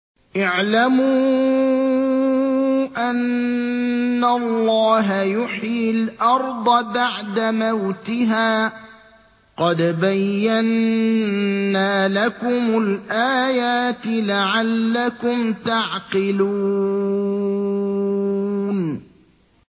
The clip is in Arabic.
اعْلَمُوا أَنَّ اللَّهَ يُحْيِي الْأَرْضَ بَعْدَ مَوْتِهَا ۚ قَدْ بَيَّنَّا لَكُمُ الْآيَاتِ لَعَلَّكُمْ تَعْقِلُونَ